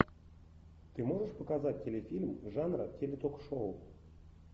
ты можешь показать телефильм жанра теле ток шоу